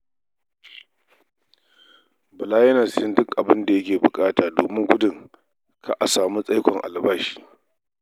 Bala yana siyan duk abin da yake buƙata domin gudun kar a samu tsaikon biyan albashi.